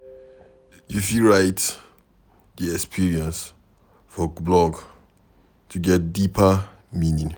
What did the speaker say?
You fit write di experience for blog to get deeper meaning